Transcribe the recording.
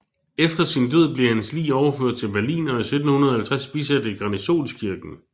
Efter sin død blev hans lig overført til Berlin og i 1750 bisat i Garnisonskirken